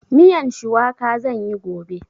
Miyan shuwaka zan yi gobe.